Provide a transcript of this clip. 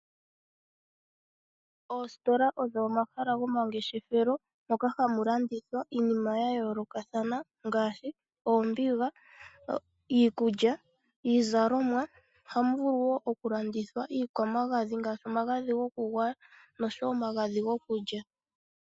Oositola odho omahala dhomangeshefelo moka hamu landithwa iinima ya yoolokathana ngaashi oombiga, iikulya, iizalomwa. Ohamu vulu wo okulandithwa iikwamagadhi ngaashi omagadhi gokugwaya noshowo omagadhi gokulya.